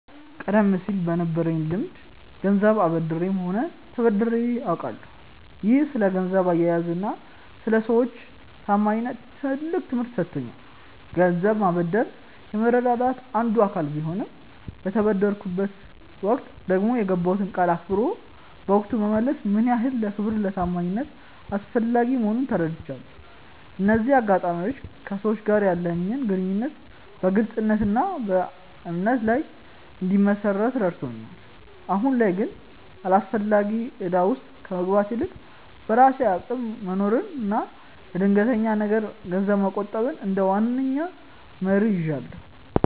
ቀደም ሲል በነበረኝ ልምድ ገንዘብ አበድሬም ሆነ ተበድሬ አውቃለሁ፤ ይህም ስለ ገንዘብ አያያዝና ስለ ሰዎች ታማኝነት ትልቅ ትምህርት ሰጥቶኛል። ገንዘብ ማበደር የመረዳዳት አንዱ አካል ቢሆንም፣ በተበደርኩበት ወቅት ደግሞ የገባሁትን ቃል አክብሮ በወቅቱ መመለስ ምን ያህል ለክብርና ለታማኝነት አስፈላጊ መሆኑን ተረድቻለሁ። እነዚህ አጋጣሚዎች ከሰዎች ጋር ያለኝን ግንኙነት በግልጽነትና በእምነት ላይ እንድመሰርት ረድተውኛል። አሁን ላይ ግን አላስፈላጊ እዳ ውስጥ ከመግባት ይልቅ፣ በራሴ አቅም መኖርንና ለድንገተኛ ነገር ገንዘብ መቆጠብን እንደ ዋነኛ መርህ ይዣለሁ።